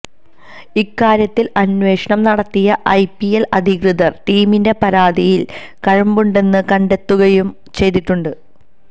ഇക്കാര്യത്തില് അന്വേഷണം നടത്തിയ ഐപിഎല് അധികൃതര് ടീമിന്റെ പരാതിയില് കഴമ്പുണ്ടെന്ന് കണ്ടെത്തുകയും ചെയ്തിട്ടുണ്ട്